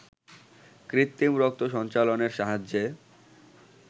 কৃত্রিম রক্ত সঞ্চালনের সাহায্যে